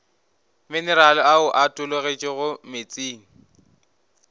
minerale ao a tologetšego meetseng